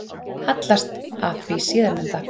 Hallast að því síðarnefnda.